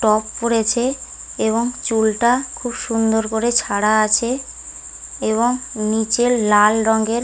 Top পড়েছে এবং চুলটা খুব সুন্দর করে ছাড়া আছে এবং নিচের লাল রঙের ।